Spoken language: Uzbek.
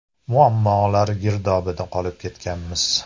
Muammolar girdobida qolib ketganmiz.